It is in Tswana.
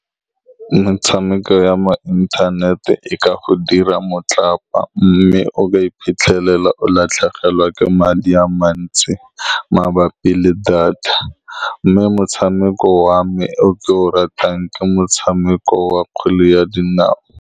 Metshameko ya mo inthanete e ka go dira motlapa, mme o ka iphitlhelela o latlhegelwa ke madi a mantsi mabapi le data, mme motshameko wa me o ke o ratang ke motshameko wa kgwele ya dinao.